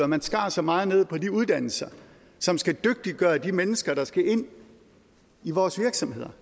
man skar så meget ned på de uddannelser som skal dygtiggøre de mennesker der skal ind i vores virksomheder